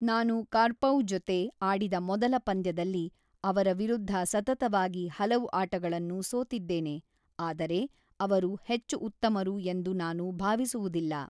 ನಾನು ಕಾರ್ಪೋವ್‌ ಜೊತೆ ಆಡಿದ ಮೊದಲ ಪಂದ್ಯದಲ್ಲಿ ಅವರ ವಿರುದ್ಧ ಸತತವಾಗಿ ಹಲವು ಆಟಗಳನ್ನು ಸೋತಿದ್ದೇನೆ, ಆದರೆ ಅವರು ಹೆಚ್ಚು ಉತ್ತಮರು ಎಂದು ನಾನು ಭಾವಿಸುವುದಿಲ್ಲ.